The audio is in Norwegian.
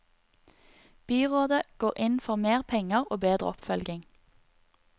Byrådet går inn for mer penger og bedre oppfølging.